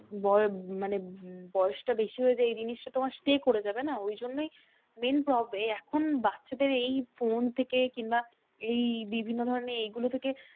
মানে বয়স টা বেশি হয়ে যায় এই জিনিসটা তোমার stay করে যাবে না? ঐজন্যই main এখন বাচ্চাদের এই ফোন থেকে কিংবা এই বিভিন্ন ধরণের এই গুলো থেকে